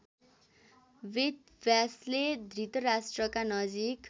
वेदव्यासले धृतराष्ट्रका नजिक